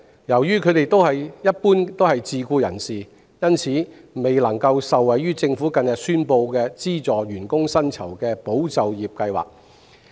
由於他們一般是自僱人士，因此未能受惠於政府近日宣布的資助員工薪酬的"保就業"計劃。